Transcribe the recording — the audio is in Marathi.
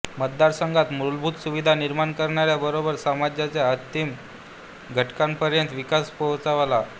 मतदारसंघात मूलभूत सुविधा निर्माण करण्या बरोबर समाजाच्या अंतिम घटकापर्यंत विकास पोहोचवला